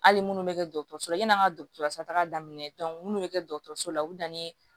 Hali munnu bɛ kɛ dɔgɔtɔrɔso la yanni an ka dɔgɔtɔrɔso taga daminɛ minnu bɛ kɛ dɔgɔtɔrɔso la u bɛ danni kɛ